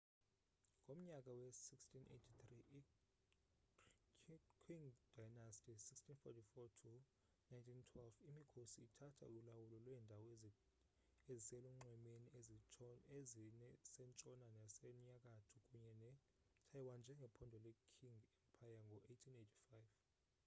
ngomnyaka we-1683 i-qing dynasty 1644-1912 imikhosi ithatha ulawulo lweendawo eziselunxwemeni ezisentshona nasenyakatho kunye netaiwan njengephondo le-qing empire ngo-1885